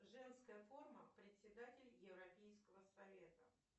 женская форма председатель европейского совета